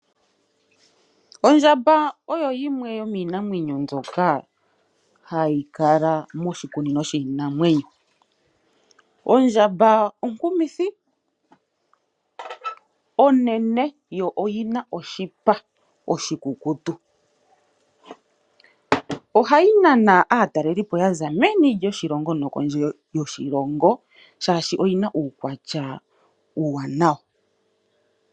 Ondjamba oyo yimwe yomiinamwenyo mbyoka hayi kala moshikunino shiinamwenyo. Ondjamba onkumithi, onenenene, yo oyina oshipa oshikukutu, ohayi nana aatalelipo yaza meni nokondje yoshilongo shashi oyina uukwatya uuwanawa.